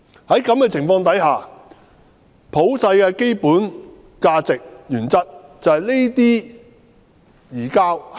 在這種情況下，普世的基本價值是不應實施這類移交。